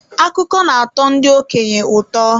Akụkọ na-atọ ndị okenye ụtọ.